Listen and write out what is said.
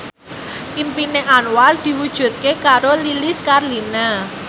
impine Anwar diwujudke karo Lilis Karlina